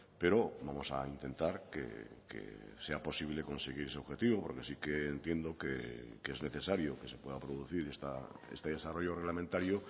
pero vamos a intentar que sea posible conseguir ese objetivo porque sí que entiendo que es necesario que se pueda producir este desarrollo reglamentario